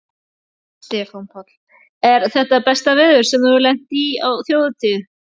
Stefán Páll: Er þetta besta veður sem þú hefur lent í á Þjóðhátíð?